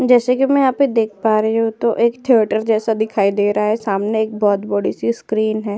जैसा कि मैं यहां पे देख पा रही हूं तो एक थीएटर जैसा दिखाई दे रहा है सामने एक बहुत बड़ी सी स्क्रीन है।